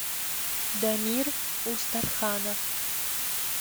дамир устарханов